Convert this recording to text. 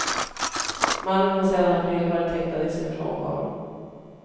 Mannen har sedan april varit häktad i sin frånvaro.